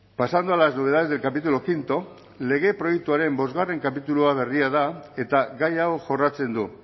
pasando a las novedades del capítulo quinto lege proiektuaren bostgarren kapitulua berria da eta gai hau jorratzen du